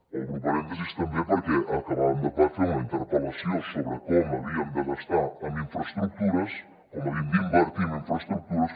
obro parèntesi també perquè acabàvem de fer una interpel·lació sobre com havíem de gastar en infraestructures com havíem d’invertir en infraestructures